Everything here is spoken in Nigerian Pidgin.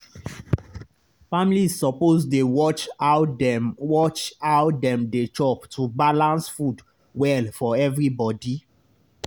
families suppose dey watch how dem watch how dem dey chop to balance food well for everybody.